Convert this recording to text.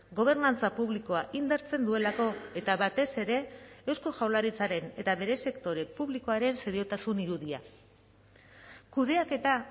gobernantza publikoa indartzen duelako eta batez ere eusko jaurlaritzaren eta bere sektore publikoaren seriotasun irudia kudeaketa